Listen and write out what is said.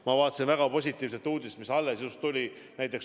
Ma kuulsin väga positiivset uudist, mis alles tuli.